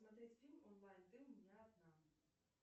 смотреть фильм онлайн ты у меня одна